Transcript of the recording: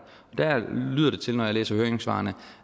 der lyder det til når jeg læser høringssvarene